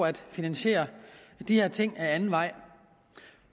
at finansiere de her ting ad anden vej